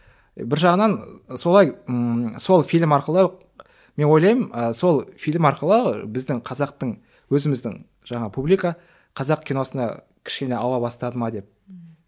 бір жағынан солай ммм сол фильм арқылы мен ойлаймын ы сол фильм арқылы біздің қазақтың өзіміздің жаңа публика қазақ киносына кішкене ауа бастады ма деп ммм